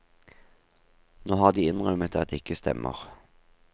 Nå har de innrømmet at det ikke stemmer.